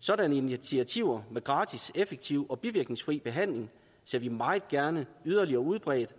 sådanne initiativer med gratis effektiv og bivirkningsfri behandling ser vi meget gerne yderligere udbredt